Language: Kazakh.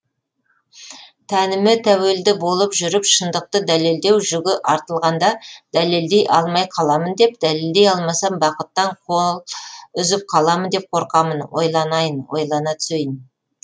тәніме тәуелді болып жүріп шындықты дәлелдеу жүгі артылғанда дәлелдей алмай қаламын деп дәлелдей алмасам бақыттан қол үзіп қаламын деп қорқамын ойланайын ойлана түсейін